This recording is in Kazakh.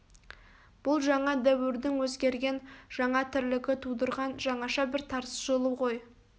бұл жаңа дәуірдің өзгерген жаңа тірлігі тудырған жаңаша бір тартыс жолы ғой